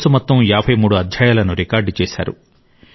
course మొత్తం 53 అధ్యాయాలను record చేశారు